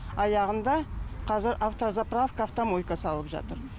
аяғында қазір автозаправка автомойка салып жатыр